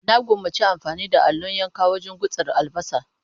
Na gwammaci amfani da allon yanka wajen gutsira albasa.